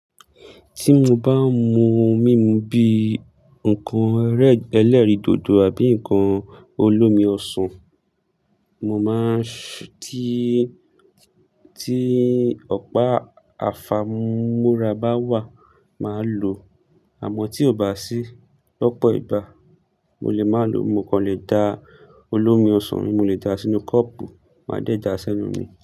Tí mo bá n mu oun mímu bí nǹkan ẹlẹ́rìndòdò àbí nǹkan olómi ọsàn, mo máa ṣí- ti, tí ọ̀pá àfàmúrà bá wà, màá lòó, àmọ́ tí kò bá sí lọ́pọ̀ ìgbà, mo lè má lòó, mo kò lè da olómi ọsàn mo lè da sínú kọ́pù, máa dẹ̀ já sẹ́nu mi.